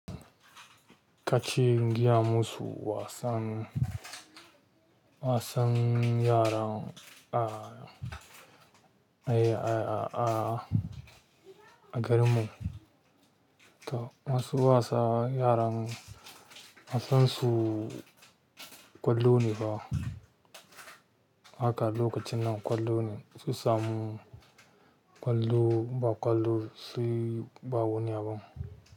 Kace in gayamu su wasan. Wasan yara a, a ya a a a garinmu. Toh wasu wasan yaran mu wasan su ƙwallo ne fah. Haka a lokacin nan ƙwallo ne, in su samu ƙwallo ba ƙwallo suyi ba wani abun.